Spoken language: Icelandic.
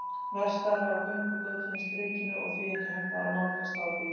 Verkstæðið var á göngugötunni Strikinu og því ekki hægt að nálgast það á bíl.